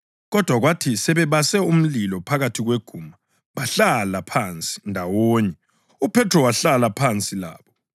Kodwa kwathi sebebase umlilo phakathi kweguma bahlala phansi ndawonye, uPhethro wahlala phansi labo.